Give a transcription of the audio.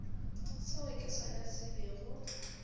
seo ke sona se bego